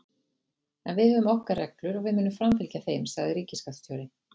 En við höfum okkar reglur og við munum framfylgja þeim, sagði ríkisskattstjóri